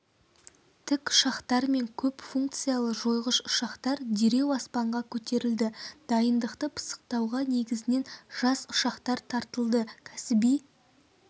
тікұшақтар мен көп функциялы жойғыш ұшақтар дереу аспанға көтерілді дайындықты пысықтауға негізінен жас ұшқыштар тартылды кәсіби